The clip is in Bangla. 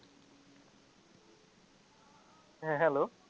হ্যাঁ hello